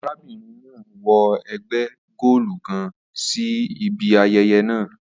Arabinrin naa wọ ẹgba goolu kan si ibi ayẹyẹ naa